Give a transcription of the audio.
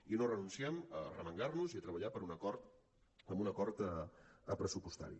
i no renunciem a arremangar nos i a treballar per un acord pressupostari